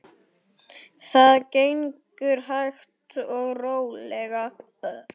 Það gengur hægt og rólega.